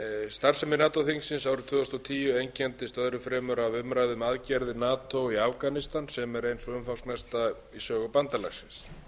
starfsemi nato þingsins árið tvö þúsund og tíu einkenndist öðru fremur af umræðu um aðgerð nato í afganistan sem er ein sú umfangsmesta í sögu bandalagsins